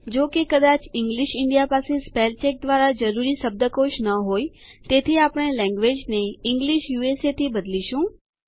જો કે કદાચ ઇંગ્લિશ ઇન્ડિયા પાસે સ્પેલ ચેક દ્વારા જરૂરી શબ્દકોશ ન હોય તેથી આપણે લેન્ગ્વેજ ને ઇંગ્લિશ યુએસએ થી બદલીશું